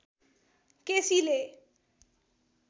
केसीले